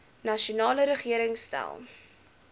nasionale regering stel